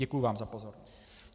Děkuji vám za pozornost.